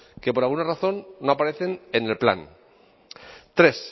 que por alguna razón no aparecen en el plan tres